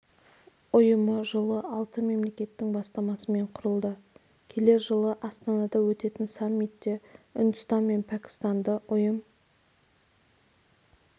ұйымы жылы алты мемлекеттің бастамасымен құрылды келер жылы астанада өтетін саммитте үндістан мен пәкістанды ұйым